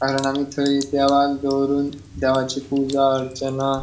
कारण आमी थय देवाक दवरून देवाची पूजा अर्चना ----